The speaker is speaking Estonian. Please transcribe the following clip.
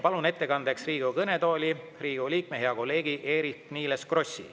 Palun ettekandeks Riigikogu kõnetooli Riigikogu liikme, hea kolleegi Eerik-Niiles Krossi.